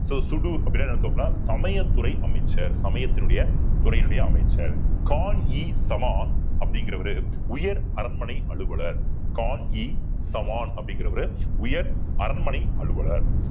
so சூடு என்ன அர்த்தம்னா சமயத்துறை அமைச்சர் சமயத்தினுடைய துறையினுடைய அமைச்சர் கான் இ சவான் அப்படிங்கிறவரு உயர் அரண்மனை அலுவலர் கான் இ சவான் அப்படிங்கிறவரு உயர் அரண்மனை அலுவலர்